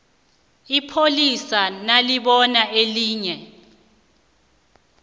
ipholisa nalibona elinye